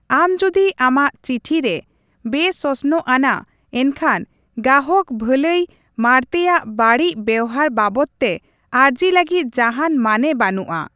ᱟᱢ ᱡᱩᱫᱤ ᱟᱢᱟᱜ ᱪᱤᱴᱷᱤ ᱨᱮ ᱵᱮᱥᱚᱥᱱᱚᱜ ᱟᱱᱟ, ᱮᱱᱠᱷᱟᱱ ᱜᱟᱦᱚᱠ ᱵᱷᱟᱹᱞᱟᱹᱭ ᱢᱟᱬᱛᱮᱭᱟᱜ ᱵᱟᱹᱲᱤᱡ ᱵᱮᱵᱦᱟᱨ ᱵᱟᱵᱚᱛ ᱛᱮ ᱟᱹᱨᱡᱤ ᱞᱟᱹᱜᱤᱫ ᱡᱟᱦᱟᱱ ᱢᱟᱱᱮ ᱵᱟᱹᱱᱩᱜᱼᱟ ᱾